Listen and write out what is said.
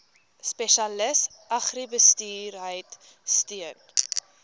spesialis agribesigheid steun